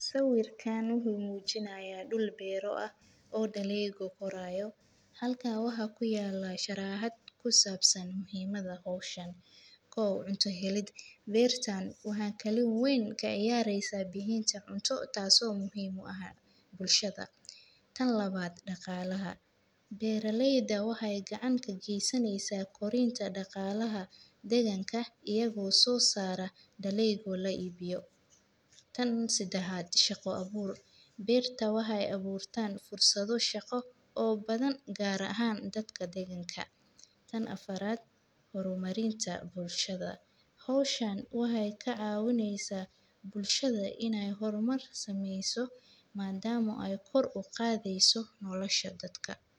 Sawiirkaan wuxuu mujinaaya dul beero ah oo daleega qoraayo kow cunta keenid waxeey door weyn kaciyaara in galeyda aay soo saaro wasaqda waa udaran tahay sababtaas in la helo waqti deer uu shaqeeyo sida kaninada lakin waxa muhiim ah in la isticmaalo waxaa kudaraa subag.